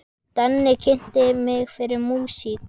Denni kynnti mig fyrir músík.